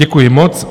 Děkuji moc.